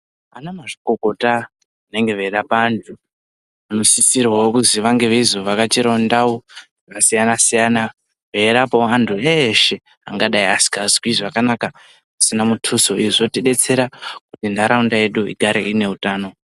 Anamazvikokota vanenge veirapa vantu vanosisirwawo kuzi vange veizovhakachirawo ndau dzakasiyana-siyana veirapa vantu veshe vangadai vasikazwi zvakanaka. Izvi zvinotidetsera kuti ntaraunda yedu igare ine utano.